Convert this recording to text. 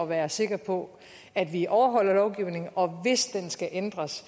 være sikker på at vi overholder lovgivningen og hvis den skal ændres